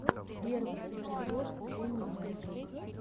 первый эпизод энни мэджик